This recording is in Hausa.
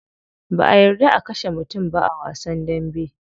Ba'a yarda a kashe mutum ba a wasan dambe.